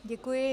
Děkuji.